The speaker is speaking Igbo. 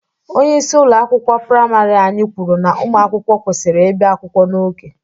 Onyeisi ụlọ akwụkwọ priamarị anyị kwuru na ụmụ akwụkwọ kwesịrị ịbịa akwụkwọ n'oge.